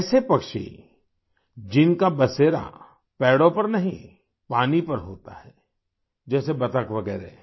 ऐसे पक्षी जिनका बसेरा पेड़ों पर नहीं पानी पर होता है जैसे बतख वगैरह